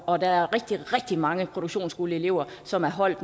og der er rigtig rigtig mange produktionsskoleelever som er holdt